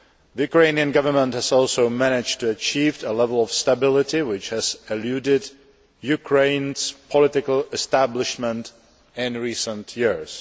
The Ukrainian Government has also managed to achieve a level of stability which has eluded Ukraine's political establishment in recent years.